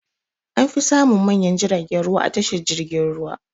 An fi samun manyan jiragen ruwa a tashar jirgin ruwa.